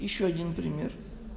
ещё один пример